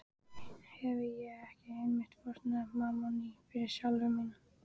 Hefi ég ekki einmitt fórnað mammoni fyrir sálu mína?